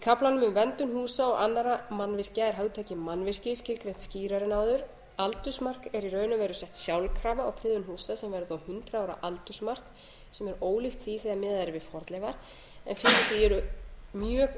kaflanum um verndun húsa og annarra mannvirkja er hugtakið mannvirki skilgreint skýrar en áður aldursmark er í raun og veru sett sjálfkrafa á friðun húsa sem væri þá hundrað ára aldursmark sem er ólíkt því sem miðað er við fornleifar en fyrir því eru mjög